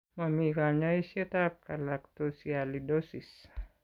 Momii kanyoisetab galactosialidosis.